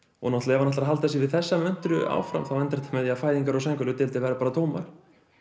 ef hann ætlar að halda sig við þessa möntru áfram endar það með því að fæðingar og verða bara tómar